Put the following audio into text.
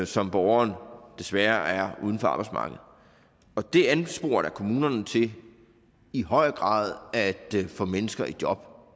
som borgeren desværre er uden for arbejdsmarkedet det ansporer da kommunerne til i høj grad at få mennesker i job